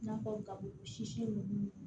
I n'a fɔ ka sisi